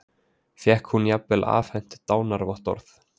Fékk hún jafnvel afhent dánarvottorð